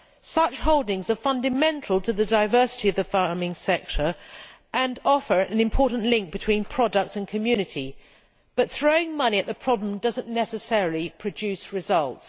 Such holdings are fundamental to the diversity of the farming sector and offer an important link between product and community, but throwing money at the problem does not necessarily produce results.